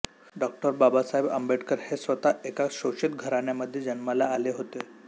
डॉ बाबासाहेब आंबेडकर हे स्वतः एका शोषित घराण्यामध्ये जन्माला आले होते